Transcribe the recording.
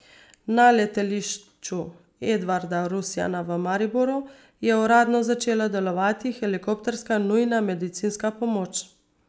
Na Letališču Edvarda Rusjana v Mariboru je uradno začela delovati helikopterska nujna medicinska pomoč.